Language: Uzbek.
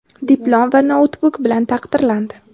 diplom va noutbuk bilan taqdirlandi!.